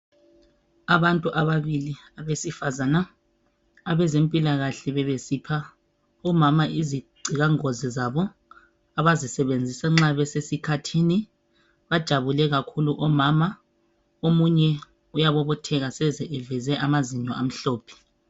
Abantu ababili abesifazana abezempilakahle bebesipha umama izigcika ngozi zabo abazisebenzisa nxa besesikhathi bajabule kakhulu omama omunye uyabobotheka seze eveze amanzinyo amhlophe.